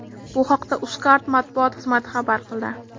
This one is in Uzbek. Bu haqda Uzcard matbuot xizmati xabar qildi .